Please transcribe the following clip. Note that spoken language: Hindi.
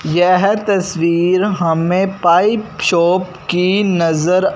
यह तस्वीर हमें पाइप शॉप की नजर--